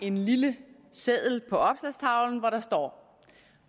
en lille seddel på opslagstavlen hvor der står